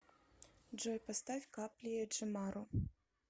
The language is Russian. джой поставь капли джамару